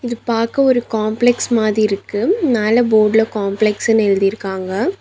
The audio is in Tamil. இது பாக்க ஒரு காம்ப்ளக்ஸ் மாதி இருக்கு மேல போட்ல காம்ப்ளக்ஸ்ன்னு எழுதிருக்காங்க.